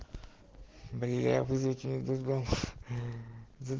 бля вызванных другом за